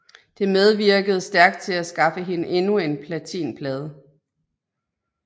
Det medvirkede stærkt til at skaffe hende endnu en platinplade